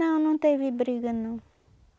Não, não teve briga, não.